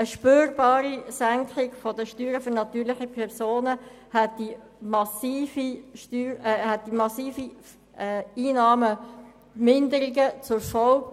Eine spürbare Senkung der Steuern bei den natürlichen Personen hätte massive Einnahmeeinbussen zur Folge.